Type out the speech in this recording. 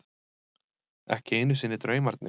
Ekki einu sinni draumarnir.